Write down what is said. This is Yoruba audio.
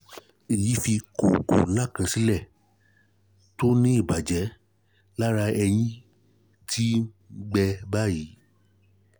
èyí fi kókó ńlá kan sílẹ̀ tó ní ìbàjẹ́ lára èyí tó ti ń gbẹ báyìí